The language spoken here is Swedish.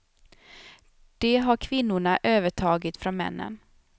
Det har kvinnorna övertagit från männen.